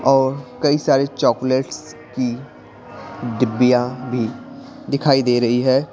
और कई सारे चॉकलेट्स की डिब्बियां भी दिखाई दे रही है।